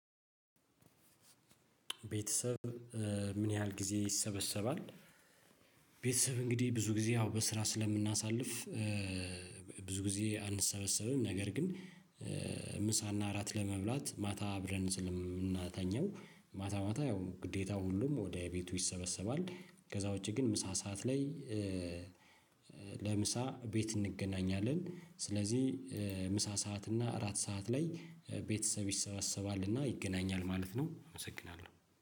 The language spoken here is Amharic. ቤተሰብ ምን ያህል ጊዜ ይሰበሰባል? ቤተሰብ እንግዲህ ብዙ ጊዜ በ ስራ ስለምናሳልፍ። ብዙ ጊዜ አንሰበሰብም ነገር ግን ምሳ እና እራት ለመብላት ማታ አብረን ስለምንተኛ ማታ ማታ ያው ግዴት ሁሉ ወደ ወደ ቤቱ ይሰበሰባል። ከዛ ዉጪ ምሳ ሰዓት ላይ ለምሳ ቤት እንገናኛለን። ስለዚህ ምሳ ሰዓት እና እራት ሰዓት ላይ ቤተሰብ ይሰበሰባል እና ይገናኛል ማለት ነው። አመሰግናለሁ